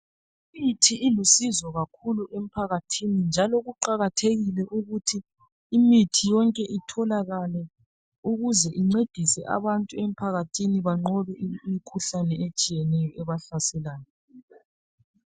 Imithi ilusizo kakhulu emphakathini njalo kuqakathekile ukuthi imithi yonke itholakale ukuze incedise abantu emphakathini banqobe imikhuhlane etshiyeneyo ebahlaselayo.